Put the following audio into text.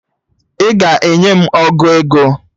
Ị ga-enye m ọgụ ego?